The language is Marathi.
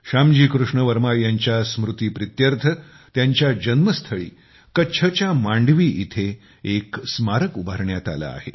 श्यामजी कृष्ण वर्मा यांच्या स्मृती प्रीत्यर्थत्यांच्या जन्म स्थळी कच्छ च्या मांडवी इथे एक स्मारक उभारण्यात आले आहे